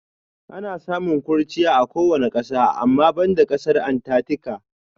Ana samun kurchiya a kowane ƙasa ama banda ƙasar Antatika.